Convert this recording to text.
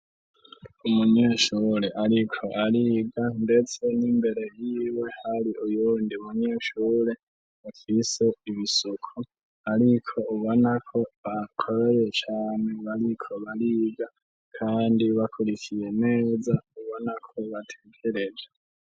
Umunyeshure ariko ariga ndetse n'imbere yiwe hari uyundi munyeshure bafise ibisuko, ariko ubona ko bakoreye cane, bariko bariga kandi bakurikiye neza ubona ko batekereje.